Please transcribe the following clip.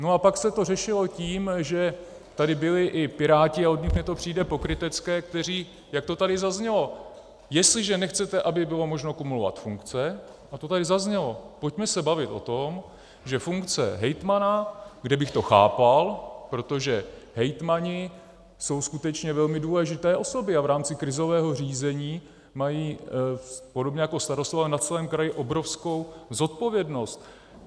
No a pak se to řešilo tím, že tady byli i Piráti, a od nich mi to přijde pokrytecké, kteří, jak to tady zaznělo - jestliže nechcete, aby bylo možno kumulovat funkce, a to tady zaznělo, pojďme se bavit o tom, že funkce hejtmana - kde bych to chápal, protože hejtmani jsou skutečně velmi důležité osoby a v rámci krizového řízení mají, podobně jako starostové, na celém kraji obrovskou zodpovědnost.